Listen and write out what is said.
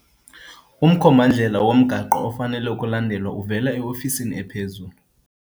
Umkhomba-ndlela womgaqo ofanele ukulandelwa uvela eofisini ephezulu.